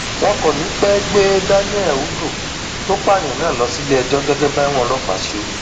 wọn kò ní í pẹẹ gbé daniel udoh tó pààyàn náà lọ síléẹjọ gẹgẹ báwọn ọlọpàá ṣe wí